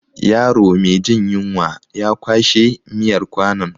Yaro me jin yunwa ya kwashe miyar kwanon.